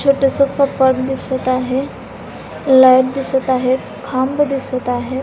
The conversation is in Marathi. छोटस कपाट दिसत आहे लाइट दिसत आहेत खांब दिसत आहे.